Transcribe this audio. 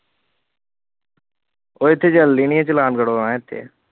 ਉਹ ਇੱਥੇ ਚੱਲਣੀ ਨੀ ਚਲਾਨ ਕਟਾਉਣਾ ਇੱਥੇ